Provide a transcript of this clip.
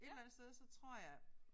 Et eller andet sted så tror jeg